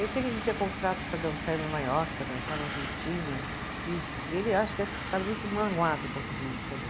Eu sei que a gente tinha contrato para dançar em Nova York, para dançar na Argentina, e ele acho que deve ter ficado muito magoado com tudo isso também.